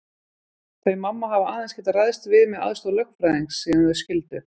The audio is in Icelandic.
Þau mamma hafa aðeins getað ræðst við með aðstoð lögfræðings síðan þau skildu.